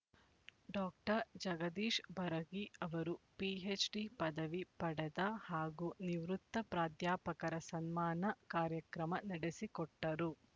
doctor Jagadish ಬರಗಿ ಅವರು PhD ಪದವಿ ಪಡೆದ ಹಾಗೂ ನಿವೃತ್ತ ಪ್ರಾಧ್ಯಾಪಕರ ಸನ್ಮಾನ ಕಾರ್ಯಕ್ರಮ ನಡೆಸಿಕೊಟ್ಟರು